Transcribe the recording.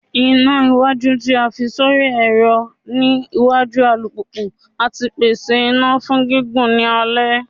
Ina iwaju ti a fi sori ẹrọ ni iwaju alupupu ati pese ina fun gigun ni alẹ